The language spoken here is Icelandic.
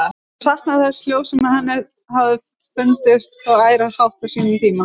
Hún saknaði þessa hljóðs, sem henni hafði þó fundist svo ærandi hátt á sínum tíma.